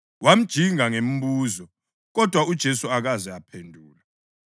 Wamjinga ngemibuzo, kodwa uJesu akaze amphendula.